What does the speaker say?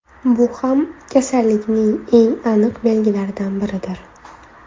Bu ham kasallikning eng aniq belgilaridan biridir.